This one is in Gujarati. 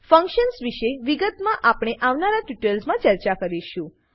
ફંકશન્સ વિષે વિગતમાં આપણે આવનારા ટ્યુટોરિયલ્સ માં ચર્ચા કરીશું